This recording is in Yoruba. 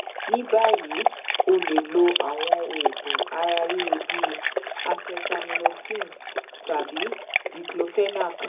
ni bayi o le lo awọn oogun ara riro bi acetaminophen tabi diclofenac